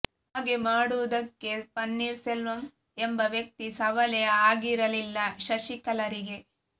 ಹಾಗೆ ಮಾಡುವುದಕ್ಕೆ ಪನ್ನೀರ್ ಸೆಲ್ವಂ ಎಂಬ ವ್ಯಕ್ತಿ ಸವಾಲೇ ಆಗಿರಲಿಲ್ಲ ಶಶಿಕಲಾರಿಗೆ